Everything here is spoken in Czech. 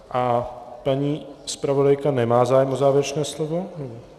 A paní zpravodajka nemá zájem o závěrečné slovo?